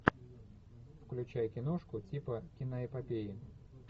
включай киношку типа киноэпопеи